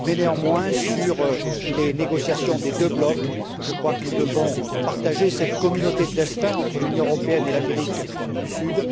Néanmoins, dans le cadre des négociations entre les deux blocs, je crois que nous devons partager cette communauté de destins entre l'Union européenne et l'Amérique du Sud.